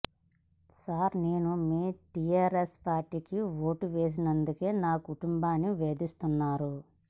sir నేను మీ టిఆర్ఎస్ పార్టీకి ఓటు వేసినందుకే నా కుటుంబాన్ని వేధిస్తున్నారు